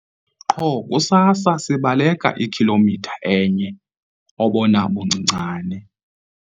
Qho kusasa sibaleka ikhilomitha enye obona buncincane.